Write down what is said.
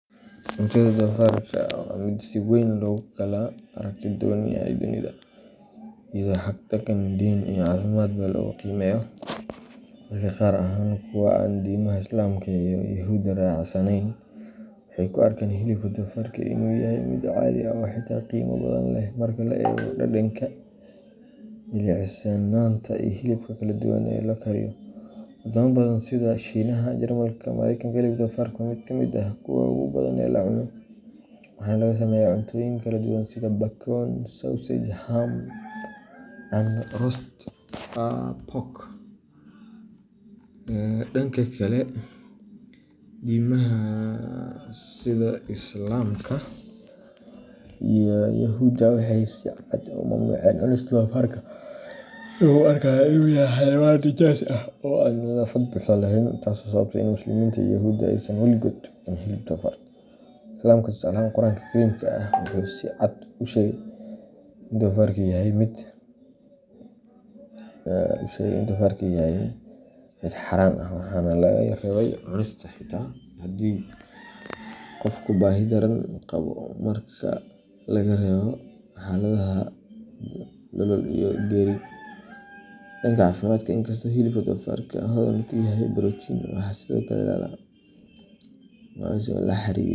Cuntada doofarka waa mid si weyn loogu kala aragti duwan yahay dunida, iyadoo xag dhaqan, diin, iyo caafimaadba lagu qiimeeyo. Dadka qaar, gaar ahaan kuwa aan diimaha Islaamka iyo Yahuudda raacsanayn, waxay u arkaan hilibka doofarka inuu yahay mid caadi ah oo xitaa qiimo badan leh marka la eego dhadhanka, jilicsanaanta, iyo hababka kala duwan ee loo kariyo. Wadamo badan sida Shiinaha, Jarmalka, iyo Mareykanka, hilibka doofarka waa mid ka mid ah kuwa ugu badan ee la cuno, waxaana laga sameeyaa cuntooyin kala duwan sida bacon, sausage, ham, and roast pork. Dhanka kale, diimaha sida Islaamka iyo Yahuudda waxay si cad u mamnuuceen cunista doofarka, iyagoo u arkaya inuu yahay xayawaan nijaas ah oo aan nadaafad buuxda lahayn, taasoo sababtay in Muslimiinta iyo Yuhuudda aysan waligood cunin hilibka doofarka. Islaamka, tusaale ahaan, Qur’aanka Kariimka ah wuxuu si cad u sheegay in doofarku yahay mid xaaraan ah, waxaana laga reebay cunistiisa xitaa haddii qofku baahi daran qabo marka laga reebo xaaladaha nolol-iyo-geeri. Dhanka caafimaadka, inkastoo hilibka doofarka hodan ku yahay borotiin, waxaa sidoo kale lala xiriiriyay.